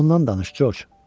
Ondan danış Coç.